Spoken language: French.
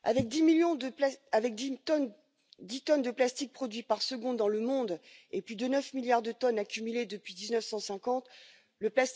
Monsieur le Président, Monsieur le Vice Président de la Commission, l'accumulation de la présence de plastique dans l'environnement, particulièrement dans les océans, est devenue insupportable.